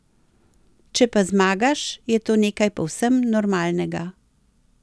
Če pa zmagaš, je to nekaj povsem normalnega.